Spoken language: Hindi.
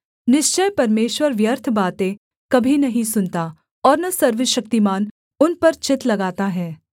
निश्चय परमेश्वर व्यर्थ बातें कभी नहीं सुनता और न सर्वशक्तिमान उन पर चित्त लगाता है